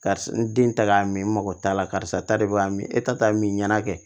Karisa n den ta ka min n mago t'a la karisa ta de b'a min e ta t'a min ɲɛna kɛ